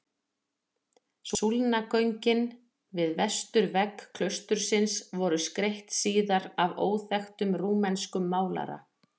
Súlnagöngin við vesturvegg klaustursins voru skreytt síðar af óþekktum rúmenskum málara.